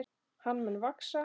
Hann mun vaxa.